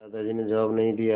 दादाजी ने जवाब नहीं दिया